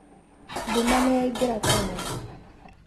Nduma nĩyaingĩra tene.